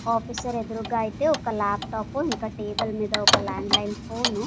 Officer ఎదురుగా అయితే ఒక లాప్ టాప్ ఇంకా టేబుల్ మీద ఒక ల్యాండ్ లైన్ ఫోన్ .